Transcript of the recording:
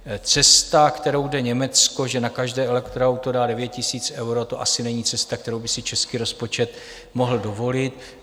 Cesta, kterou jde Německo, že na každé elektroauto dá 9 000 euro, to asi není cesta, kterou by si český rozpočet mohl dovolit.